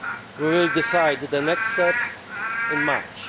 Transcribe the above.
We will decide the next steps in March.